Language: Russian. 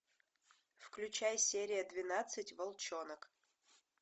включай серия двенадцать волчонок